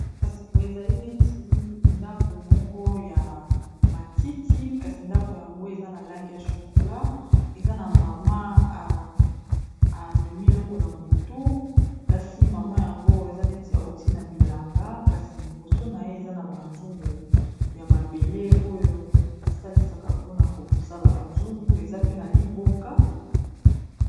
kasi bo ezali neti ndako moko ya matiti kasi ndako yango eza na lange ya chokola eza na mama amemi eloko na motu kasi mama yango eza neti auti na bilanga kasi liboso na ye eza na banzungu ya mabele oyo basalisaka mpona kosala bazungu eza pe na liboka